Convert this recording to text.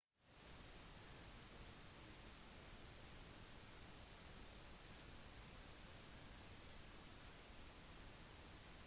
en godt likt ferdighet som mange turister ønsker å lære er boomerang-kasting